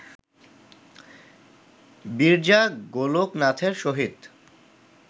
বিরজা গোলোকনাথের সহিত